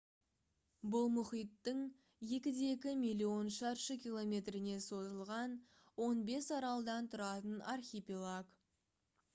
бұл мұхиттың 2,2 миллион шаршы километріне созылған 15 аралдан тұратын архипелаг